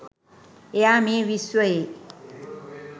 එයා මේ විශ්වයේ